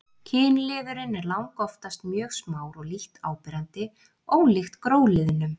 Kynliðurinn er langoftast mjög smár og lítt áberandi, ólíkt gróliðnum.